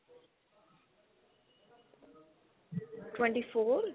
twenty four